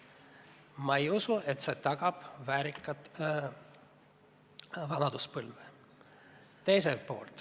Ma ei usu, et see tagab väärika vanaduspõlve.